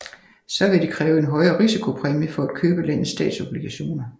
Så vil de kræve en højere risikopræmie for at købe landets statsobligationer